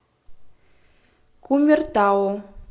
кумертау